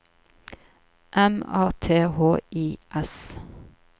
M A T H I S